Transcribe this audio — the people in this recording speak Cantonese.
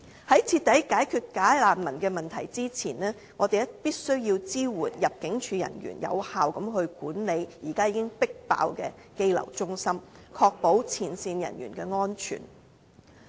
在徹底解決假難民問題之前，我們必須支援入境處人員有效管理現時已經超出負荷的羈留中心，確保前線人員的安全。